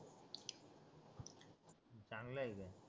चांगलं आहे